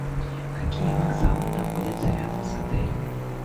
какие вокзалы находятся рядом с отелем